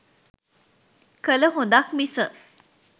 කළ හොඳක් මිස